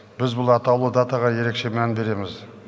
біз бұл атаулы датаға ерекше мән береміз